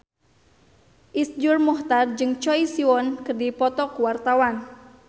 Iszur Muchtar jeung Choi Siwon keur dipoto ku wartawan